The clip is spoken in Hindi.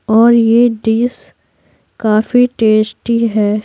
और यह डिश काफी टेस्टी है।